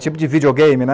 Tipo de videogame, né?